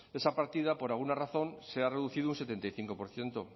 esa partida por alguna razón se ha reducido un setenta y cinco por ciento